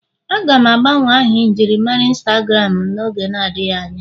Aga m agbanwe aha njirimara Instagram m n'oge adịghị anya